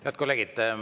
Head kolleegid!